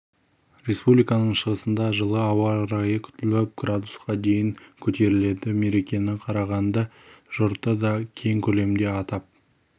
республиканың шығысында жылы ауа райы күтіліп градусқа дейін көтеріледі мерекені қарағанды жұрты да кең көлемде атап